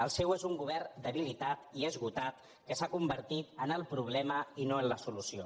el seu és un govern debilitat i esgotat que s’ha convertit en el problema i no en la solució